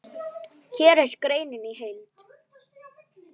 Hér er greinin í heild.